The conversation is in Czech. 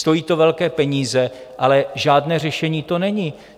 Stojí to velké peníze, ale žádné řešení to není.